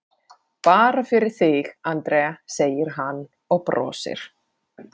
Bara fyrir þig, Andrea, segir hann og brosir.